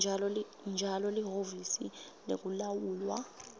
njalo lihhovisi lekulawulwa